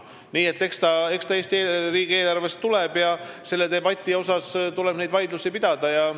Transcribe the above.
Nii et eks see Eesti riigieelarvest tuleb ja tuleb neid vaidlusi pidada.